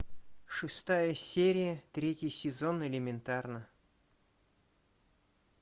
шестая серия третий сезон элементарно